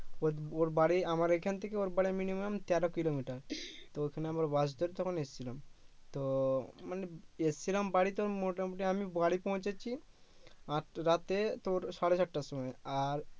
ওর ওর বাড়ি আমার এইখান থেকে ওর বাড়ি minimum তেরো কিলোমিটার তো ওখানে আবার বাস ধরে তখন এসেছিলাম তো মানে এসছিলাম বাড়িতে তখন মোটামুটি আমি বাড়ি পৌছেছি রাতের তোর সাড়ে সাতটার সময় আর